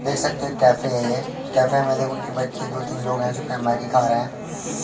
देख सकते हैं कैफे है ये कैफे में दो तीन लोग हैं जो कै मैगी खा रहे है।